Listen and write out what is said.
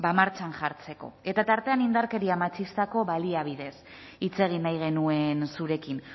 martxan jartzeko eta tartean indarkeria matxistazko baliabideez hitz egin nahi genuen zurekin